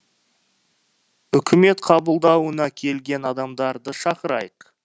үкімет қабылдауына келген адамдарды шақырайық